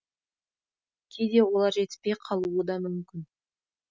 кейде олар жетіспей қалуы да мүмкін